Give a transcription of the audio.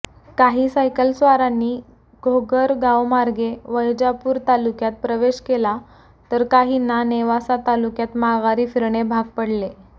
काही सायकलस्वारांनी घोगरगावमार्गे वैजापूर तालुक्यात प्रवेश केला तर काहींना नेवासा तालुक्यात माघारी फिरणे भाग पडले